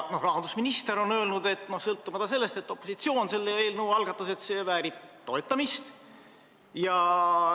Rahandusminister on öelnud, et sõltumata sellest, et selle eelnõu algatas opositsioon, väärib see toetamist.